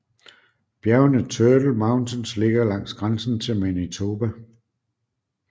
Bjergene Turtle Mountains ligger langs grænsen til Manitoba